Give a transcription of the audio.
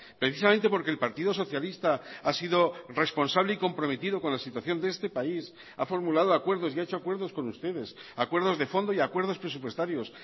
precisamente porque el partido socialista ha sido responsable y comprometido con la situación de este país ha formulado acuerdos y ha hecho acuerdos con ustedes acuerdos de fondo y acuerdos presupuestarios